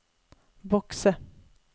bokse